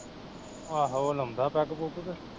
ਆਹੋ ਓਹ ਲਾਉਂਦਾ ਪੈੱਗ ਪੁੱਗ ਕਿ